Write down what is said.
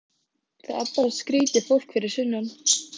Það er bara skrýtið fólk fyrir sunnan.